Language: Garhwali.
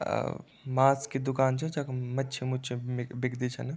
अ मास की दूकान च जखम मच्छी मुच्छे म बिकदी छन।